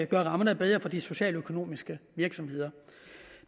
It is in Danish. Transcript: gøre rammerne bedre for de socialøkonomiske virksomheder